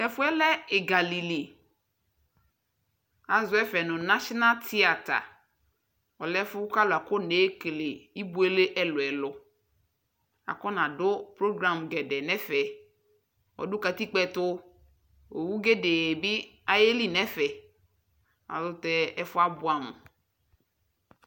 Tʊ ɛfʊ yɛ lɛ egali li, azɔ ɛfɛ nʊ national tiata, ɔlɛ ɛfʊ yɛ bua kʊ alʊ afɔ nebuele ibuele ɛlʊɛlʊ, afɔ nadʊ program ɛlʊɛlʊ nʊ ɛfɛ, ɔdʊ yovone ɛtʊ, owu poo yeli nʊ ɛfɛ ayʊ ɛlʊtɛ ɛfʊ yɛ abʊɛ amʊ